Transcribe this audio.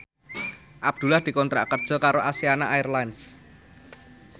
Abdullah dikontrak kerja karo Asiana Airlines